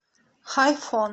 хайфон